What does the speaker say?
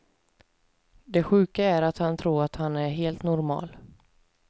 Det sjuka är att han tror att han är helt normal.